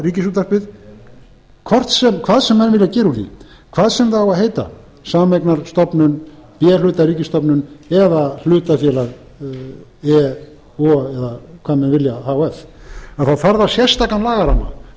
ríkisútvarpið hvað sem menn vilja gera úr því hvað sem það á að heita sameignarstofnun b hluta ríkisstofnun eða hlutafélag a eða hvað menn vilja h f þá þarf það sérstakan lagaramma það